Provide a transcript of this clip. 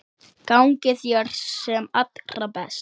Gangi þér sem allra best.